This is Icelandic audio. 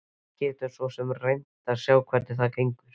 Við getum svo sem reynt að sjá hvernig það gengur.